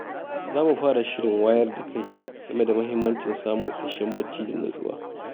Za mu fara shirin wayar da kai game da mahimmancin samun isasshen bacci da nutsuwa.